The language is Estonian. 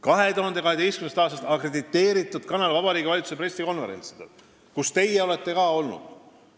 2012. aastast on see olnud akrediteeritud kanal Vabariigi Valitsuse pressikonverentsidel, kus olete ka teie olnud.